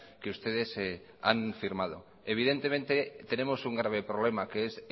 que ustedes han firmado evidentemente tenemos un grave problema que es